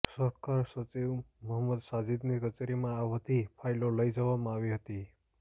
સહકાર સચિવ મહંમદ સાજીદની કચેરીમાં આ વધી ફાઈલો લઈ જવામાં આવી હતી